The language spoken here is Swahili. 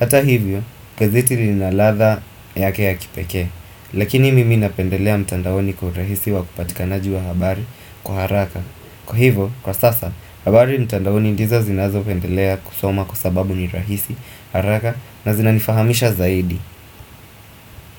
Hata hivyo, gazeti lina ladha yake ya kipekee Lakini mimi napendelea mtandaoni kwa urahisi wa kupatikanaji wa habari kwa haraka Kwa hivo, kwa sasa, habari mtandaoni ndizo zinazo pendelea kusoma kwa sababu ni rahisi, haraka na zinani fahamisha zaidi.